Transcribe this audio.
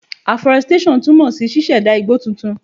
Aforestation túmọ̀ sí ṣíṣẹ̀dá igbó titun.